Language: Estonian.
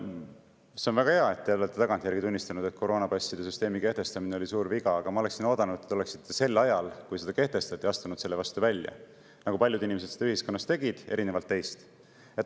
See on väga hea, et te olete tagantjärgi tunnistanud, et koroonapasside süsteemi kehtestamine oli suur viga, aga ma oleksin oodanud, et te oleksite sel ajal, kui see kehtestati, astunud selle vastu välja, nagu paljud inimesed seda ühiskonnas tegid erinevalt teist.